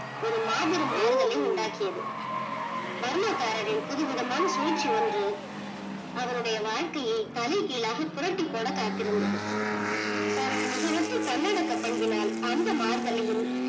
ஒரு மாபெரும் மாறுதலை உண்டாக்கியது, Burma காரரின் சிறுவிதமான சுழ்ச்சி ஒன்று அவருடைய வாழக்கையே தலை கீழாக புரட்டி போட காத்திருந்தது. தன்னுடைய நிகழற்ற தன்னடக்கம் பங்கினால் அந்த மாறுதலையும்